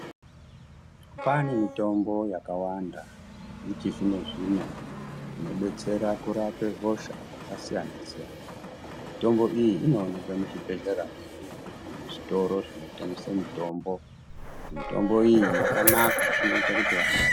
Kwane mitombo yakawanda yechizvino-zvino inobetsera kurape hosha dzakasiyana -siyana mitombo iyi inooneke muzvibhehlera medu nezvitoro zvinotengese mitombo. Mitombo iyi yakanaka inoita kuti va.